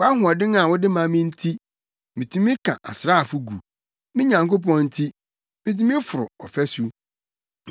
Wʼahoɔden a wode ma me nti, mitumi ka asraafo gu; me Nyankopɔn nti, mitumi foro ɔfasu.